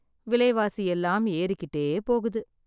விலைவாசி எல்லாம் ஏறிக்கிட்டே போகுது